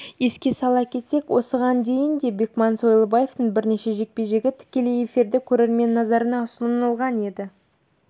еске сала кетсек осыған дейін де бекман сойлыбаевтың бірнеше жекпе-жегі тікелей эфирде көрермен назарына ұсынылған еді